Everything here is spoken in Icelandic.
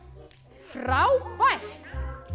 frábært